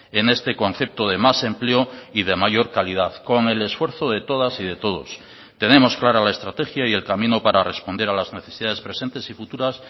en este concepto de más empleo y de mayor calidad con el esfuerzo de todas y de todos tenemos clara la estrategia y el camino para responder a las necesidades presentes y futuras